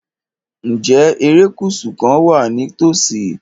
Ǹjẹ́ erékùṣù kan wà ní ìtòsí?